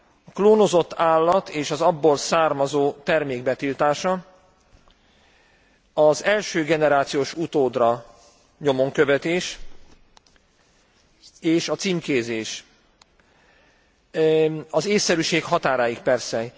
A klónozott állat és az abból származó termék betiltása, az első generációs utódra nyomonkövetés és a címkézés az ésszerűség határáig persze.